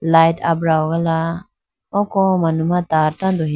light abra hogala oko manu ma tar tando he.